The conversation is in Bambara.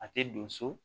A tɛ don so